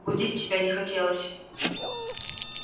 будить тебя не хотелось